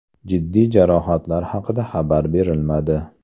Jiddiy jarohatlar haqida xabar berilmadi.